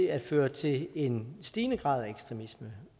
at føre til en stigende grad af ekstremisme